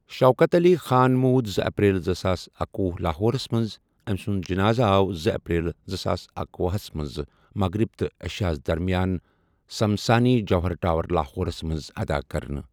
شوکت علی خان مود زٕ اپریل زٕساس اکوُہ لاہورس مَنٛز امۍسند جناز آو زٕ اپریل زٕساس اکۄہُس مغرب تہ عشاء درمیان سمسانی جوہر ٹاور لاہورس مَنٛز آدا کَرنہٕ۔